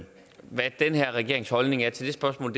hvad den her regerings holdning er til det spørgsmål